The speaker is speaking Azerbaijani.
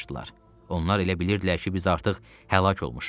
Onlar elə bilirdilər ki, biz artıq həlak olmuşuq.